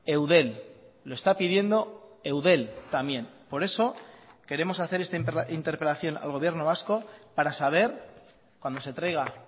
eudel lo está pidiendo eudel también por eso queremos hacer esta interpelación al gobierno vasco para saber cuando se traiga